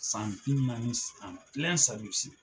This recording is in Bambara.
San bi naani